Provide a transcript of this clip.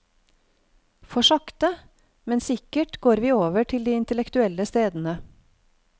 For sakte, men sikkert går vi over til de intellektuelle stedene.